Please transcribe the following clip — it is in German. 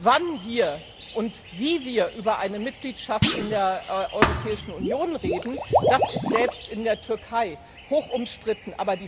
Wann und wie wir über eine Mitgliedschaft in der Europäischen Union reden, das ist selbst in der Türkei hochumstritten.